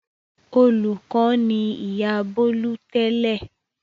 Olùkọ́ ni ìyá Bólú tẹ́lẹ̀.